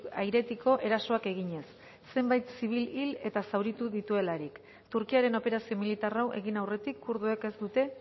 airetiko erasoak eginez zenbait zibil hil eta zauritu dituelarik turkiaren operazio militar hau egin aurretik kurduek ez dute